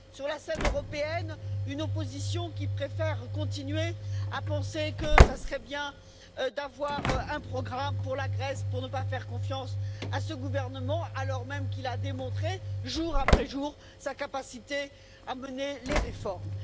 Sur la scène européenne, une opposition qui préfère continuer à penser que ce serait bien d'avoir un programme pour la Grèce, pour ne pas faire confiance à ce gouvernement, alors même qu'il a démontré, jour après jour, sa capacité à mener les réformes.